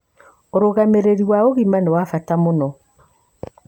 ũrũgamĩrĩri wa ũgima nĩ wa bata mũno,